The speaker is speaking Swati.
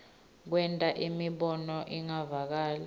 kwenta imibono ingevakali